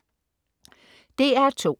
DR2: